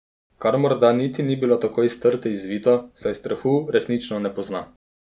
Kar morda niti ni bilo tako iz trte izvito, saj strahu resnično ne pozna.